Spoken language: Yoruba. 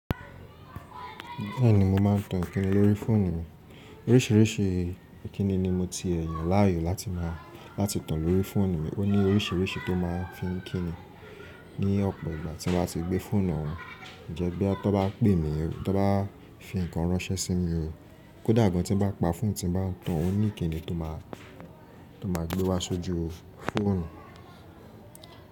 Bẹ́ẹ̀ni mo máà ń tan Ìkíni lórí fóònù mi. Oríṣìíríṣìí Ìkíni ni mo ti ẹ̀ yàn láàyò láti máa, láti tan lórí fóònù mi. Ó ní oríṣìíríṣìí tó máa ń fi ń kí ni. Ni ọ̀pọ̀ ìgbà tí mo bá ti gbé fóònù hàn, ǹjẹ́ bí a bá tó bá pè mi, tó bá fi nǹkan ránṣẹ́ sí mi, kódà gan tí ń bá pa fóònù tí mo bá tan, ó ní Ìkíni tó máa, tó máa gbé wá sójú fóònù.